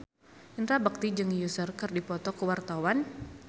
Indra Bekti jeung Usher keur dipoto ku wartawan